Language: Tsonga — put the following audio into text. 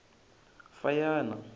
fanyana